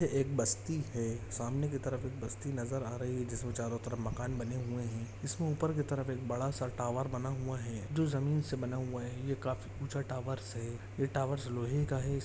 एक बस्ती है सामने की तरफ एक बस्ती नज़र आ रही है जिसमे चारो तरफ मकान बने हुए है उसमे ऊपर की तरफ एक बड़ा सा टावर बना हुआ है जो ज़मीन से बना हुआ है ये काफी ऊँचा टावर्स है ये टावर लोहे का है।